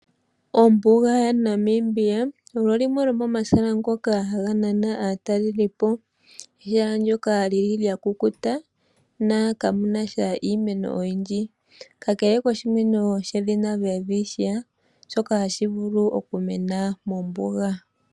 Ombuga yaNamibia olyo limwe lyomomahala ngoka haga nana aatalelipo. Ehala ndyoka lya kukuta nokamu na sha iimeno oyindji kakele koshimeno shedhina welwitchia shoka hashi vulu okumena mombuga.